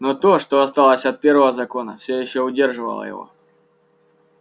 но то что осталось от первого закона всё ещё удерживало его